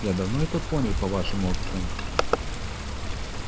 я давно это понял по вашему акценту